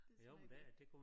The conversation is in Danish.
Det smager godt